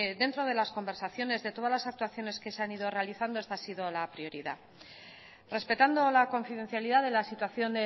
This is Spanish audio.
dentro de las conversaciones de todas las actuaciones que se han ido realizando esta ha sido la prioridad respetando la confidencialidad de la situación